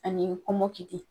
Ani kɔmɔkili.